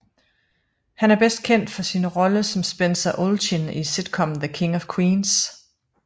Han er bedst kendt for sin rolle som Spencer Olchin i sitcommen The King of Queens